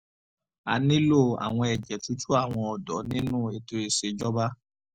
a nílò àwọn ẹ̀jẹ̀ tútù àwọn ọ̀dọ́ nínú ètò ìṣèjọba